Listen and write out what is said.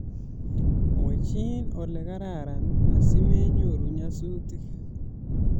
Mwechi olekararan asimenyoru nyasutik